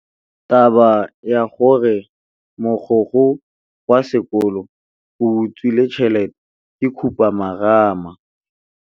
Taba ya gore mogokgo wa sekolo o utswitse tšhelete ke khupamarama.